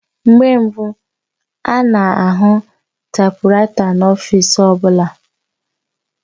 Mgbe mbu ana ahụ taipuraita n'ọfịs ọbụla